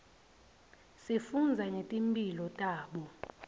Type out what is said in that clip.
sifundza ngetimphilo tabo